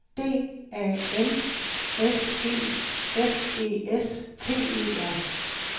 D A N S E F E S T E R